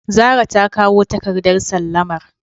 Zara takawo takardar sallamar.